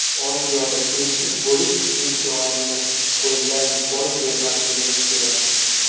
Osiyoda tengsiz bo‘lish imkoniyatini qo‘ldan boy bermasligimiz kerak.